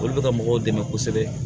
Olu bɛ ka mɔgɔw dɛmɛ kosɛbɛ